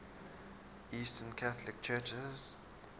eastern catholic churches